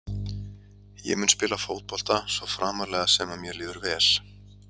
Ég mun spila fótbolta svo framarlega sem að mér líður vel.